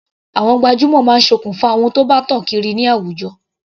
Àwọn gbajúmọ̀ máa sokùn fa ohun tí bá tàn kiri ní àwùjọ.